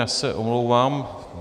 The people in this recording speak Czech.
Já se omlouvám.